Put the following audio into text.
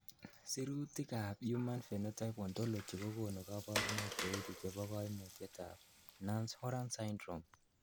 Sirutikab Human Phenotype Ontology kokonu koborunoik cheuchu chebo koimutietab Nance Horan syndrome .